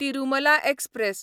Tirumala express